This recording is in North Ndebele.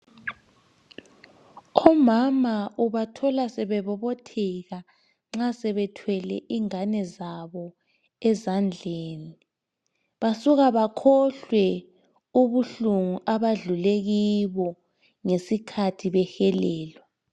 Omama ubathola sebebobotheka nxa sebethwele ingane zabo ezandleni. Basuka bakhohlwe ubuhlungu abadlule kibo ngesikhathi behelelwa.